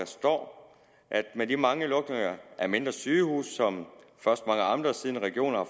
står at der med de mange lukninger af mindre sygehuse som mange amter siden regioner